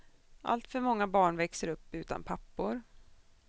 Alltför många barn växer upp utan pappor.